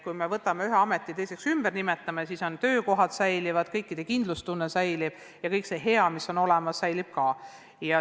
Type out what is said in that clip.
Kui me võtame ühe ameti ja nimetame ta ringi, siis töökohad säilivad, kõikide kindlustunne säilib ja kõik muu hea, mis olemas on, säilib ka.